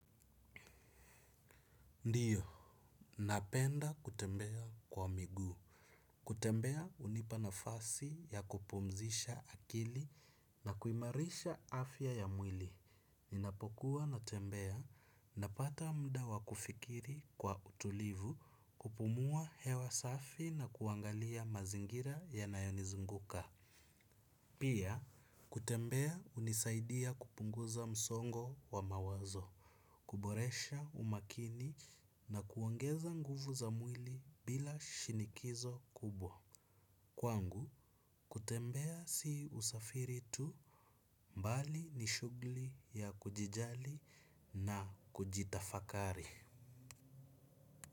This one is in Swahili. Ndio, napenda kutembea kwa miguu. Kutembea hunipanafasi ya kupumzisha akili na kuimarisha afya ya mwili. Ninapokua natembea napata muda wa kufikiri kwa utulivu kupumua hewa safi na kuangalia mazingira yanayonizunguka. Pia, kutembea hunisaidia kupunguza msongo wa mawazo. Kuboresha umakini na kuongeza nguvu za mwili bila shinikizo kubwa. Kwangu, kutembea si usafiri tu mbali ni shugli ya kujijali na kujitafakari.